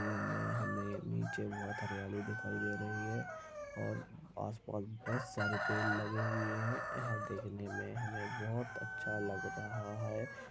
हमे नीचे बहुत हरियाली दिखाई दे रही है और आस पास बहुत सारे पेड़ लगे हुए है यह देखने मे हमें बहुत अच्छा लग रहा है।